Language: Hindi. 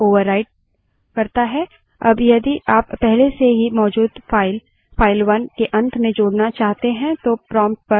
अगर file उदाहरण के लिए file 1 पहले से ही मौजूद है तो उपयोगकर्ता का input इस file पर ओवरराइट होता है